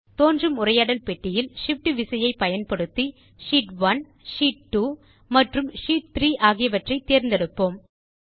தோன்றும் உரையாடல் பெட்டியில் shift விசையை பயன்படுத்தி ஷீட் 1 ஷீட் 2 மற்றும் ஷீட் 3 ஆகியவற்றை தேர்ந்தெடுப்போம்